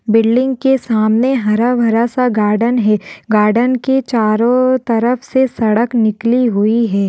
Building के सामने हरा भरा सा गार्डन है गार्डन के चारों तरफ से सड़क निकली हुई है।